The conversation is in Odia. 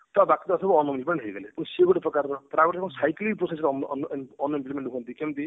ତା ପାଖକୁ ପାଖକୁ unemployment ହେଇଗଲେ ତ ସିଏ ଗୋଟେ ପ୍ରକାର ର ଆଉ ଗୋଟେ କଣ cycling proses ରେ ଅନ ଅନ unemployment ହୁଅନ୍ତି କେମତି